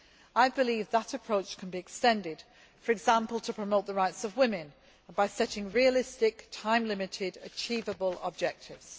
I believe that approach can be extended, for example to promote the rights of women, by setting realistic, time limited, achievable, objectives.